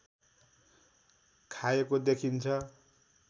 खाएको देखिन्छ